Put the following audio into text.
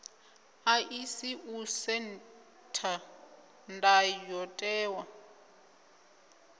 ḓaḓisi u setha ndayo tewa